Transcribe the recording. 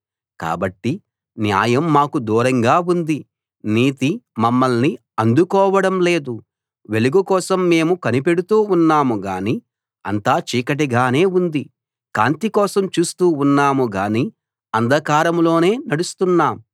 కాబట్టి న్యాయం మాకు దూరంగా ఉంది నీతి మమ్మల్ని అందుకోవడం లేదు వెలుగుకోసం మేము కనిపెడుతూ ఉన్నాం గానీ అంతా చీకటిగానే ఉంది కాంతి కోసం చూస్తూ ఉన్నాం గానీ అంధకారంలోనే నడుస్తున్నాం